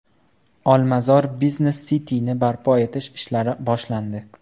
Olmazor Business City’ni barpo etish ishlari boshlandi.